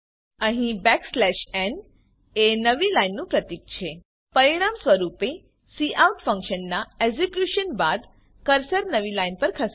અહીં n એ નવી લાઈનનું પ્રતિક છે પરિણામ સ્વરૂપે કાઉટ ફંક્શનનાં એક્ઝીક્યુશન બાદ કર્સર નવી લાઈન પર ખસે છે